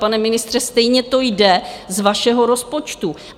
Pane ministře, stejně to jde z vašeho rozpočtu.